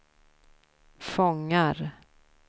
fångar